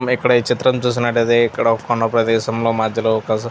మనం ఇక్కడ చిత్రం చూస్తున్నట్లైతే ఇక్కడ కొండా ప్రదేశంలో మధ్యలో ఒక --